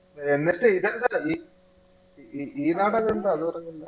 എന്നിട്ട് ഇതിണ്ടല്ല ഈ ഈ നാടെല്ല ഇണ്ട അതുപറഞ്ഞില്ല